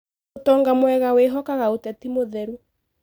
Ũtonga mwega wĩhokaga ũteti mũtheru.